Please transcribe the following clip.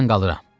Mən qalıram.